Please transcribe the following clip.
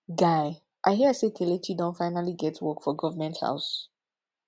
guy i hear say kelechi don finally get work for government house